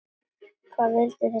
Hvað vildi þessi maður?